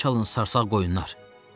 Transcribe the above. Əl çalın sarsaq qoyunlar!